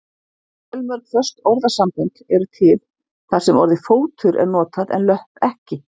Fjölmörg föst orðasambönd eru til þar sem orðið fótur er notað en löpp ekki.